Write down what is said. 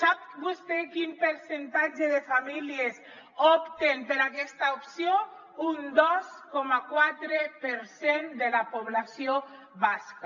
sap vostè quin percentatge de famílies opta per aquesta opció un dos coma quatre per cent de la població basca